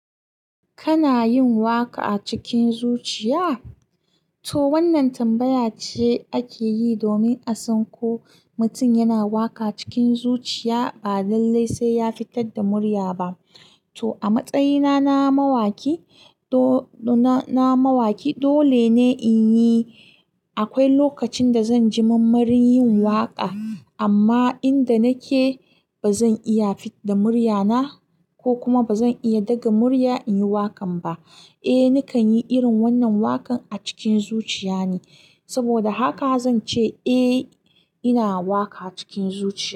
Kana yin waƙa cikin zuciya? To wannan tambaya ce ake yi domin a san ko mutum yana waƙa cikin zuciya ba lallai sai ya fitar da murya ba. To a matsayina na mawaki na mawaki, dole ne in yi. Akwai lokacin da zan ji mammarin yin waƙa amma inda nake ba zan iya fidda muryana ko kuma ba zan iya daga murya in yi waƙan ba. Eh nakan yi irin wannan wakan a cikin zuciya ne saboda haka, zance eh ina waka cikin zuciya.